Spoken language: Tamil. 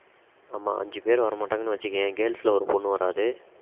ஆமாம் அஞ்சு பேரு வரமாட்டாங்கனு வெச்சிக்கியேன் girls ல ஒரு பொண்ணு வராது